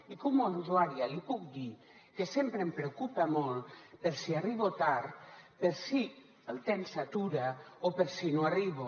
i com a usuària li puc dir que sempre em preocupa molt per si arribo tard per si el tren s’atura o per si no arribo